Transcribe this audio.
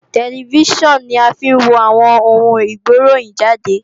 Tẹlifíṣàn ni a fi ń wo àwọn oun ìgbéròhìnjàde